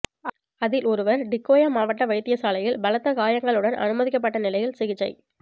அதில் ஒருவர் டிக்கோயா மாவட்ட வைத்தியசாலையில் பலத்த காயங்களுடன் அனுமதிக்கப்பட்ட நிலையில் சிகிச்சை